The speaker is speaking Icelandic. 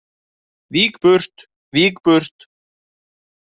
Vík burt, vík burt.